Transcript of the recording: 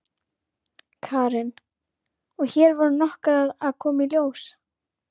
Karen: Og hér voru nokkrar að koma í ljós?